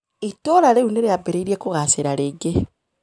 Itũũra rĩu nĩ rĩambĩrĩirie kũgaacĩra rĩngĩ.